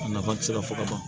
A nafa ti se ka fɔ ka ban